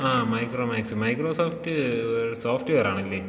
ആഹ് Micromax. Microsoft സോഫ്റ്റ് വെയറാണല്ലേ